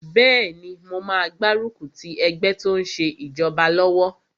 Bẹ́ẹ̀ni, mo máa gbárùkù ti ẹgbẹ́ tó n ṣe ìjọba lọ́wọ́